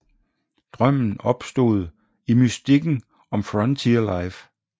Drømmen opstod i mystikken om frontier life